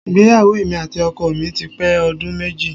Ìgbéyàwó èmi àti ọkọ mi ti pé ọdún méjì